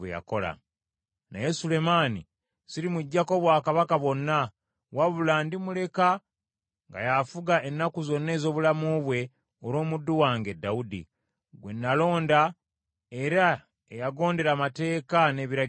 “ ‘Naye Sulemaani sirimuggyako bwakabaka bwonna, wabula ndimuleka nga y’afuga ennaku zonna ez’obulamu bwe olw’omuddu wange Dawudi, gwe nalonda era eyagondera amateeka n’ebiragiro byange.